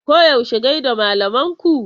Koyaushe gai da malaman ku!